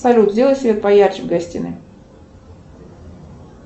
салют сделай свет поярче в гостиной